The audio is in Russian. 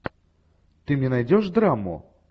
ты мне найдешь драму